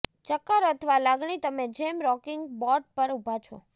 ચક્કર અથવા લાગણી તમે જેમ રોકિંગ બોટ પર ઉભા છો